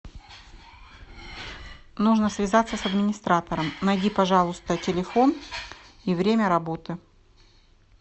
нужно связаться с администратором найди пожалуйста телефон и время работы